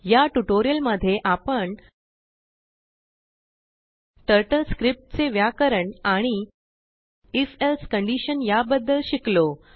या टुटोरिअलमध्ये आपण टर्टल स्क्रिप्टचे व्याकरण आणि if elseकंडीशन यांबद्दलशिकलो